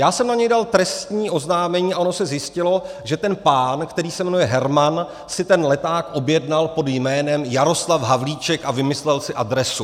Já jsem na něj dal trestní oznámení a ono se zjistilo, že ten pán, který se jmenuje Herman, si ten leták objednal pod jménem Jaroslav Havlíček a vymyslel si adresu.